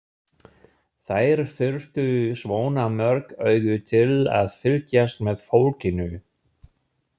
Þær þyrftu svona mörg augu til að fylgjast með fólkinu.